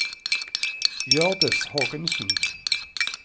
Hjørdis Hågensen